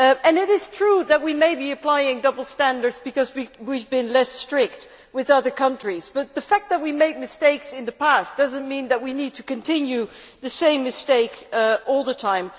It is true that we may be applying double standards because we have been less strict with other countries, but the fact that we made mistakes in the past does not mean that we need to continue making the same mistakes all the time.